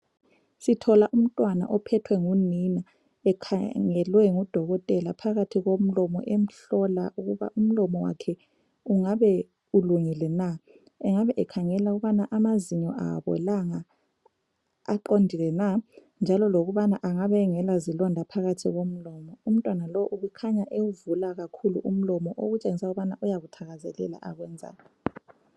Sithola umntwana ophethwe ngunina ekhangelwe ngudokotela phakathi komlomo emhlola ukuba umlomo wakhe ungabe ulungile na ,engabe ekhangela ukuba amazinyo awabolanga, aqondile na, njalo lokubana engabe engalazilonda phakathi komlomo, umtwana lowu ubekhanya ewuvula kakhulu umlomo okutshengisela ukubana uyakuthakazelela akwenzayo